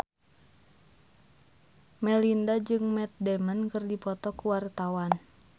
Melinda jeung Matt Damon keur dipoto ku wartawan